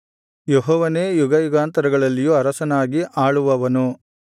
ಯೆಹೋವನೇ ಯುಗಯುಗಾಂತರಗಳಲ್ಲಿಯೂ ಅರಸನಾಗಿ ಆಳುವವನು